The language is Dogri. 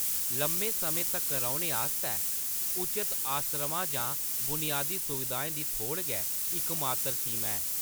लम्मे समें तक्कर रौह्‌‌‌ने आस्तै उचत आसरमा जां बुनियादी सुविधाएं दी थोड़ गै इकमात्तर सीमा ऐ।